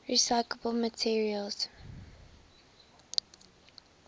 recyclable materials